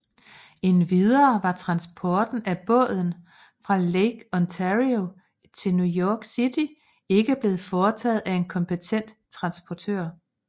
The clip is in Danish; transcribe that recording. Endvidere var transporten af båden fra Lake Ontario til New York City ikke blevet foretaget af en kompetent transportør